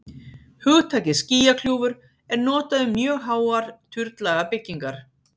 hugtakið skýjakljúfur er notað um mjög háar turnlaga byggingar